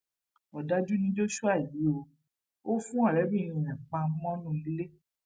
òdájú ni joshua yìí o ò fún ọrẹbìnrin ẹ pa mọnú ilé